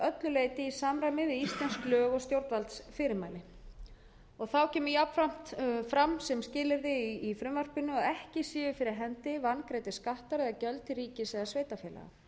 leyti í samræmi við íslensk lög og stjórnvaldsmæli og þá kemur jafnframt fram sem skilyrði í frumvarpinu að ekki séu fyrir hendi vangreiddir skattar eða gjöld til ríkis eða sveitarfélaga